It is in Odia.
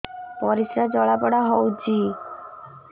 ପରିସ୍ରା ଜଳାପୋଡା ହଉଛି